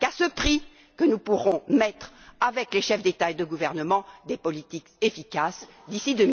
Ce n'est qu'à ce prix que nous pourrons mettre avec les chefs d'État et de gouvernement des politiques efficaces d'ici